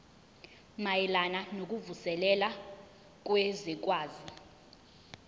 mayelana nokuvuselela kwezwekazi